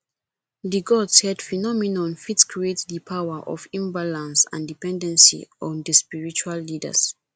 di god said phenomenon fit create di power of imbalance and dependency on di spiritual leaders